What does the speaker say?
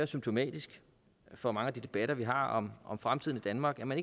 symptomatisk for mange af de debatter vi har om om fremtiden i danmark man